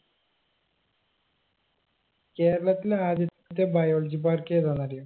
കേരളത്തിലെ ആദ്യത്തെ biology park ഏതാന്നറിയോ